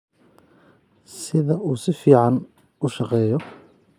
sida uu si fiican u shaqeeyo